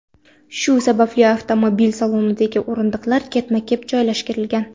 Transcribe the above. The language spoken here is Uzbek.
Shu sababli avtomobil salonidagi o‘rindiqlar ketma-ket joylashtirilgan.